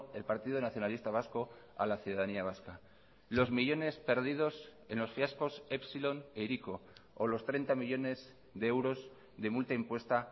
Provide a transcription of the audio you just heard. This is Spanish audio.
el partido nacionalista vasco a la ciudadanía vasca los millónes perdidos en los fiascos epsilon e hiriko o los treinta millónes de euros de multa impuesta